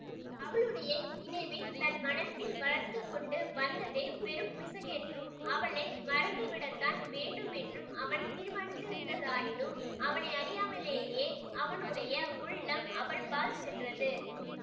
அவளுடைய நினைவைத் தன் மனத்தில் வளர்த்து கொண்டு வந்ததே பெரும் பிசகென்றும் அவளை மறந்துவிடத்தான் வேண்டுமென்றும் அவன் தீர்மானித்திருந்ததானாயினும் அவனையறியாமலே அவனுடைய உள்ளம் அவள் பால் சென்றது